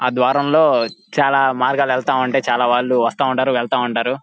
ఆ ద్వారం లో చాల మార్గాలు వెళ్తా ఉంటాయి చాల వాళ్ళు వస్తా ఉంటారు వెళ్తా ఉంటారు.